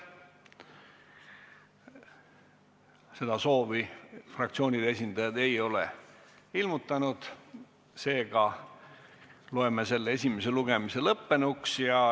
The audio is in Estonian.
Seda soovi fraktsioonide esindajad ei ole ilmutanud, seega loeme selle esimese lugemise lõppenuks.